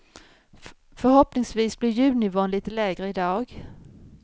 Förhoppningsvis blir ljudnivån lite lägre i dag.